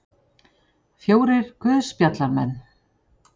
Fjórir guðspjallamenn.